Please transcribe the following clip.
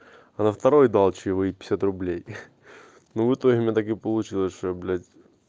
а на второй дал чаевые пятьдесят рублей ха-ха ну в итоге у меня так и получилось что я блять